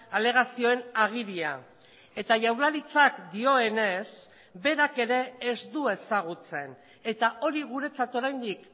alegazioen agiria eta jaurlaritzak dioenez berak ere ez du ezagutzen eta hori guretzat oraindik